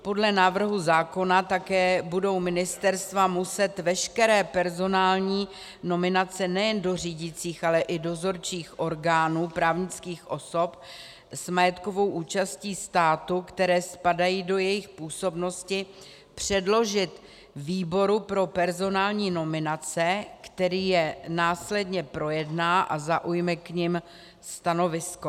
Podle návrhu zákona také budou ministerstva muset veškeré personální nominace nejen do řídících, ale i dozorčích orgánů právnických osob s majetkovou účastí státu, které spadají do jejich působnosti, předložit výboru pro personální nominace, který je následně projedná a zaujme k nim stanovisko.